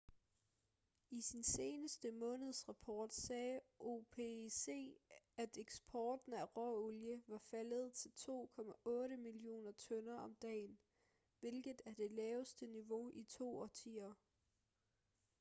i sin seneste månedsrapport sagde opec at eksporten af råolie var faldet til 2,8 millioner tønder om dagen hvilket er det laveste niveau i to årtier